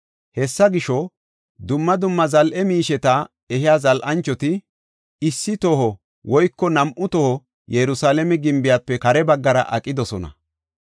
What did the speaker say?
Hessa gisho, dumma dumma zal7e miisheta ehiya zal7anchoti issi toho woyko nam7u toho Yerusalaame gimbiyafe kare baggara aqidosona.